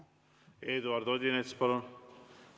Eduard Odinets, palun!